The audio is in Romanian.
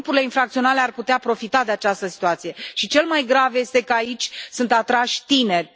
Grupurile infracționale ar putea profita de această situație și cel mai grav este că aici sunt atrași tinerii.